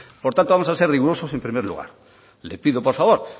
por tanto vamos a ser rigurosos en primer lugar le pido por favor